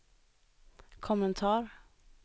kommentar